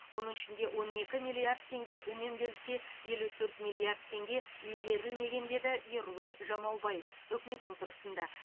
оның ішінде он екі миллиард теңге үнемделсе елу төрт миллиард теңге игерілмеген деді ерұлан жамаубаев үкімет отырысында